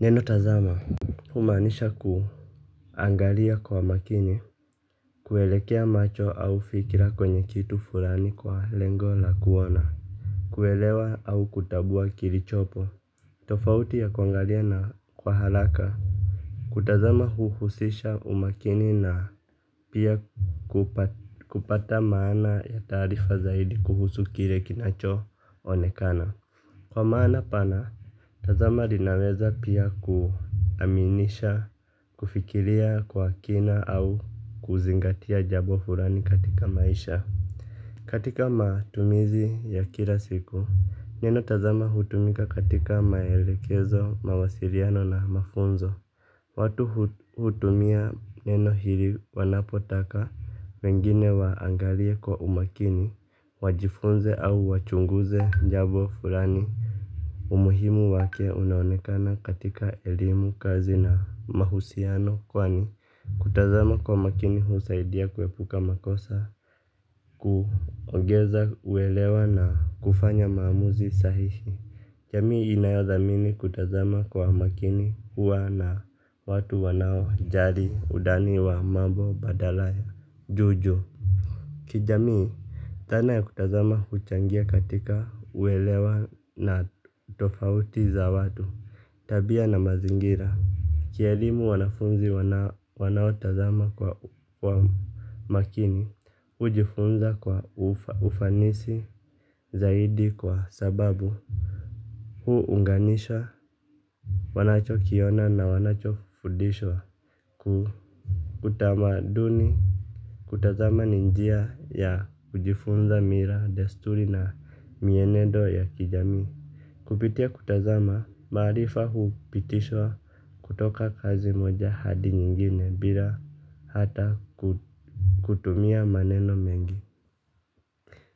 Neno tazama, humaanisha kuangalia kwa makini. Kuelekea macho au fikira kwenye kitu fulani kwa lengo la kuona. Kuelewa au kutambua kilichopo. Tofauti ya kuangalia na kwa haraka kutazama huhusisha umakini na pia kupata maana ya taarifa zaidi kuhusu kile kinacho onekana. Kwa maana pana, tazama linaweza pia kuaminisha kufikiria kwa kina au kuzingatia jambo fulani katika maisha. Katika matumizi ya kila siku, neno tazama hutumika katika maelekezo, mawasiliano na mafunzo. Watu hutumia neno hili wanapotaka wengine waangalie kwa umakini, wajifunze au wachunguze jambo fulani. Umuhimu wake unaonekana katika elimu, kazi na mahusiano kwani, kutazama kwa makini husaidia kuepuka makosa. Kuongeza uelewa na kufanya maamuzi sahihi. Jamii inayothamini kutazama kwa makini huwa na watu wanaojali udani wa mambo badala ya juu juu. Kijamii, dhana ya kutazama huchangia katika uelewa na tofauti za watu. Tabia na mazingira. Kielimu wanafunzi wanaotazama kwa makini, hujifunza kwa ufanisi zaidi kwa sababu huunganisha wanachokiona na wanachofundishwa. Utamaduni kutazama nin jia ya kujifunza mila, desturi na mienendo ya kijamii. Kupitia kutazama, maarifa hupitishwa kutoka kazi moja hadi nyingine bila hata kutumia maneno mengi.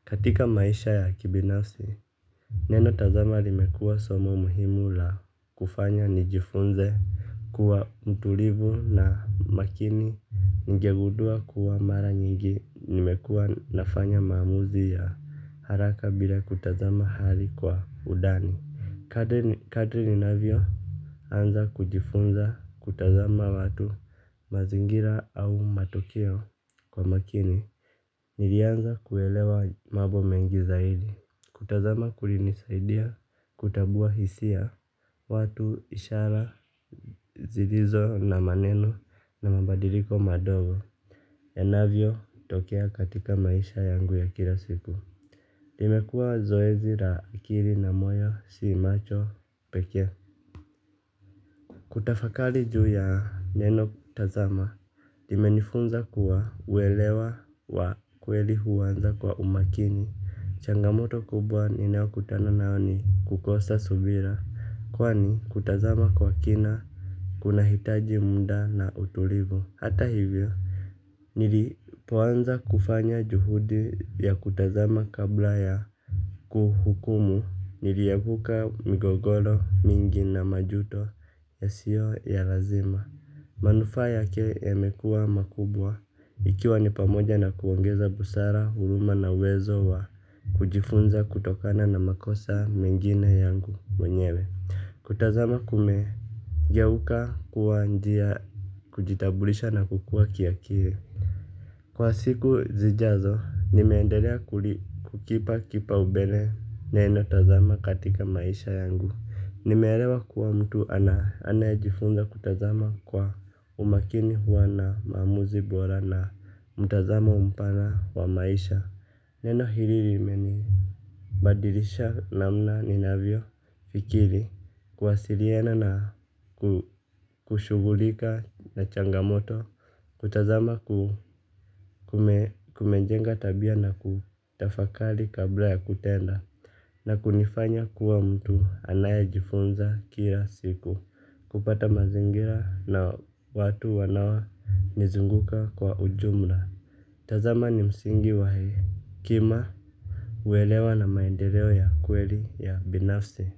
Katika maisha ya kibinafsi, neno tazama limekuwa somo muhimu la kufanya nijifunze kuwa mtulivu na makini. Ningegudua kuwa mara nyingi nimekuwa nafanya maamuzi ya haraka bila kutazama hali kwa udani. Kadri ninavyoanza kujifunza kutazama watu, mazingira au matokeo kwa makini. Nilianza kuelewa mambo mengi zaidi, kutazama kulinisaidia, kutambua hisia, watu, ishara, zilizo na maneno, na mabadiliko madogo yanavyotokea katika maisha yangu ya kila siku. Limekua zoezi la akili na moyo, si macho pekee. Kutafakali juu ya neno kutazama, imenifunza kuwa, uwelewa wa kweli huanza kwa umakini, changamoto kubwa ninayokutana nayo ni kukosa subira. Kwani, kutazama kwa kina, kunahitaji muda na utulivu, hata hivyo, nilipoanza kufanya juhudi ya kutazama kabla ya kuhukumu, niliepuka migogoro mingi na majuto yasiyo ya lazima. Manufaa yake yamekuwa makubwa, ikiwa ni pamoja na kuongeza busara, huruma na uwezo wa kujifunza kutokana na makosa mengine yangu mwenyewe. Kutazama kumegeuka kuwa njia ya kujitambulisha na kukua kiakili. Kwa siku zijazo, nimeendelea kulipa kipaumbele neno tazama katika maisha yangu. Nimeelewa kuwa mtu anayejifunza kutazama kwa umakini huwa na maamuzi bora na mtazamo mpana wa maisha. Neno hili lime nibadilisha namna ninavyo fikiria, kuwasiliana na kushughulika na changamoto kutazama kumejenga tabia na kutafakari kabla ya kuenda. Na kunifanya kuwa mtu anayejifunza kila siku. Kupata mazingira na watu wanaonizunguka kwa ujumla. Tazama ni msingi wa hekima, uelewa na maendeleo ya kweli ya binafsi.